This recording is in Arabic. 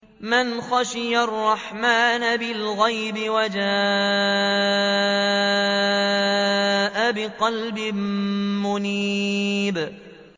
مَّنْ خَشِيَ الرَّحْمَٰنَ بِالْغَيْبِ وَجَاءَ بِقَلْبٍ مُّنِيبٍ